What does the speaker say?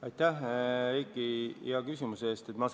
Aitäh, Heiki, hea küsimuse eest!